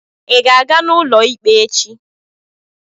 Ị ga-aga n'ụlọ ikpe echi?